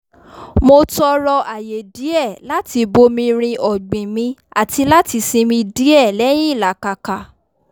mo tọrọ àyè díẹ̀ láti bomirin ọ̀gbìn mi àti láti sinmi díẹ̀ lẹ́yìn ìlàkàka